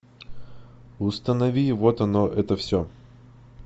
установи вот оно это все